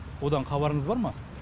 одан хабарыңыз бар ма